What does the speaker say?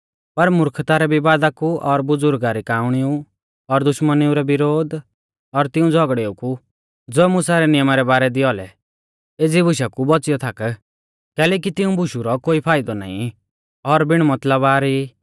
पर मुर्खता रै विवाद कु और बुज़ुर्गा री काअणिऊ और दुश्मनी विरोध और तिऊं झ़ौगड़ेऊ कु ज़ो मुसा रै नियमा रै बारै दी औलै एज़ी बुशा कु बौच़ियौ थाक कैलैकि तिऊं बुशु रौ कोई फाइदौ नाईं और बिण मतलबा री ई